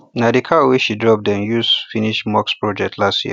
na the cow wey she drop dem use finish mosque project last year